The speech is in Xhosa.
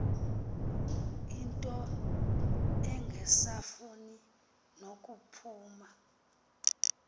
into engasafuni nokuphuma